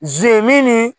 Ze min ni